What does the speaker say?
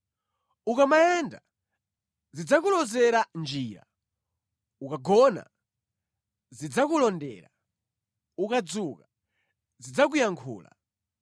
Ukamayenda, zidzakulozera njira; ukugona, zidzakulondera; ukudzuka, zidzakuyankhula.